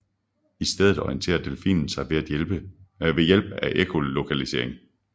I stedet orienterer delfinen sig ved hjælp af ekkolokalisering